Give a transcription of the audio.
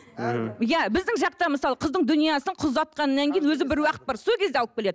иә біздің жақта мысалы кыздың дүниесін қыз ұзатқаннан кейін өзі бір уақыт бар сол кезде алып келеді